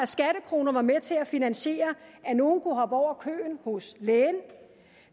skattekroner var med til at finansiere at nogle kunne hoppe over køen hos lægen